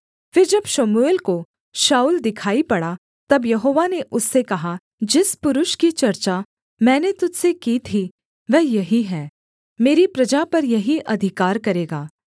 फिर जब शमूएल को शाऊल दिखाई पड़ा तब यहोवा ने उससे कहा जिस पुरुष की चर्चा मैंने तुझ से की थी वह यही है मेरी प्रजा पर यही अधिकार करेगा